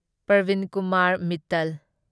Parveen Kumar Mittal